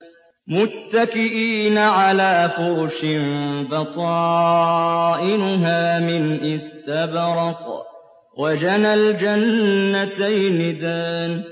مُتَّكِئِينَ عَلَىٰ فُرُشٍ بَطَائِنُهَا مِنْ إِسْتَبْرَقٍ ۚ وَجَنَى الْجَنَّتَيْنِ دَانٍ